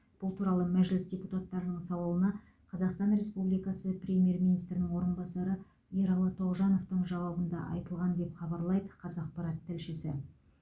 бұл туралы мәжліс депутаттарының сауалына қазақстан республикасы премьер министрінің орынбасары ералы тоғжановтың жауабында айтылған деп хабарлайды қазақпарат тілшісі